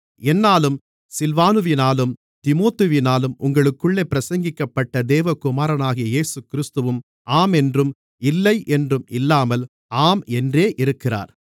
என்னாலும் சில்வானுவினாலும் தீமோத்தேயுவினாலும் உங்களுக்குள்ளே பிரசங்கிக்கப்பட்ட தேவகுமாரனாகிய இயேசுகிறிஸ்துவும் ஆம் என்றும் இல்லை என்றும் இல்லாமல் ஆம் என்றே இருக்கிறார்